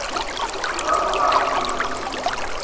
rrago a re o be